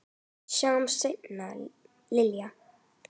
Sjáumst seinna, Linja.